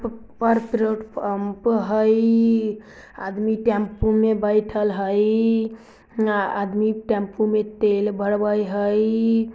प-पेट्रोल pump हई आदमी tempo में बैठल हई न आदमी टेम्पो में तेल भरवई हई।